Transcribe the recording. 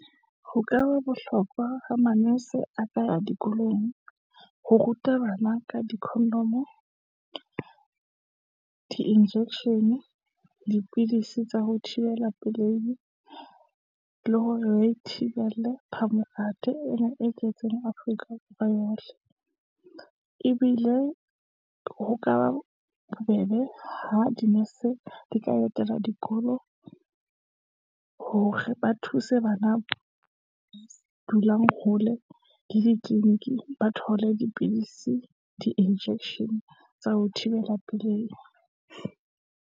Ho ka ba bohlokwa ho manese a ka dikolong, ho ruta bana ka dikhondomo di injection, dipidisi tsa ho thibela pelehi , le hore re thibele phamokate ena e tletseng Afrika Borwa yohle. Ebile ho ka ba bobebe ho dinese, di ka etela dikolo, o re ba thuse bana ba dulang hole le ditleleniki, ba thole dipidisi, di-injection tsa ho thibela pelehi.